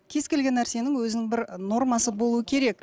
кез келген нәрсенің өзінің бір нормасы болуы керек